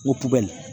O tuguli